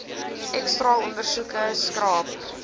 x straalondersoeke skraap